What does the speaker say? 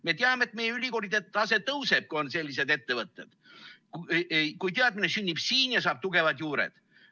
Me teame, et meie ülikoolide tase tõuseb, kui on sellised ettevõtted, kui teadmine sünnib siin ja saab tugevad juured.